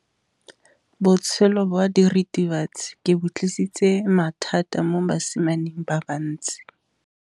Botshelo jwa diritibatsi ke bo tlisitse mathata mo basimaneng ba bantsi.